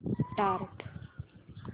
start